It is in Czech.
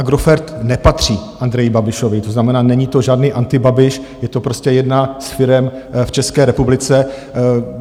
Agrofert nepatří Andreji Babišovi, to znamená, není to žádný antibabiš, je to prostě jedna z firem v České republice.